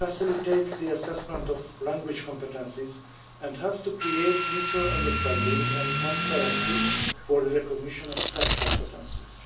It facilitates the assessment of language competences and helps to create mutual understanding and transparency for the recognition of such competences.